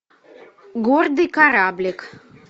гордый кораблик